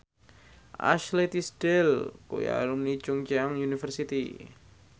Ashley Tisdale kuwi alumni Chungceong University